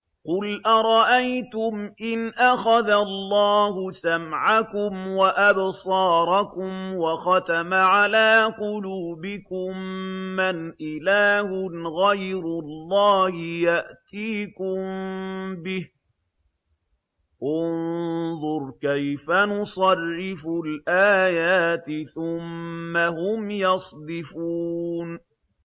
قُلْ أَرَأَيْتُمْ إِنْ أَخَذَ اللَّهُ سَمْعَكُمْ وَأَبْصَارَكُمْ وَخَتَمَ عَلَىٰ قُلُوبِكُم مَّنْ إِلَٰهٌ غَيْرُ اللَّهِ يَأْتِيكُم بِهِ ۗ انظُرْ كَيْفَ نُصَرِّفُ الْآيَاتِ ثُمَّ هُمْ يَصْدِفُونَ